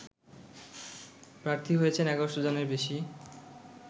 প্রার্থী হয়েছেন ১১শ' জনের বেশি